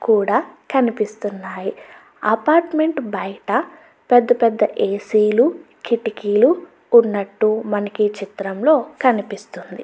కూడా కనిపిస్తున్నాయి అపార్ట్మెంట్ బయట పెద్ద పెద్ద ఏ. సీ లు కిటికీలు ఉన్నట్టు మనకీ చిత్రంలో కనిపిస్తుంది.